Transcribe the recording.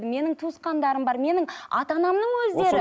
менің туысқандарым бар менің ата анамның өздері